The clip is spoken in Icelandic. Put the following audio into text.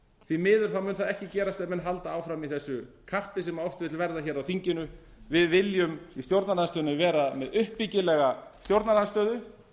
því miður mun það ekki gerast ef menn halda áfram í þessu karpi sem oft vill verða á þinginu við viljum í stjórnarandstöðunni vera með uppbyggilega stjórnarandstöðu